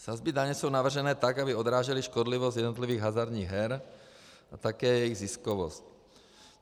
Sazby daně jsou navrženy tak, aby odrážely škodlivost jednotlivých hazardních her a také jejich ziskovost.